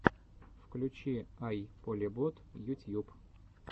включи ай полебот ютьюб